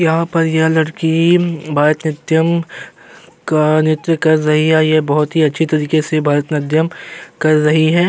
यहाँ पर यह लड़की भारतनाट्यम का नृत्य कर रही है। यह बहोत ही अच्छे तरीके से भारतनाट्यम कर रही है।